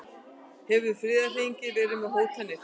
Hefur friðarhreyfingin verið með hótanir?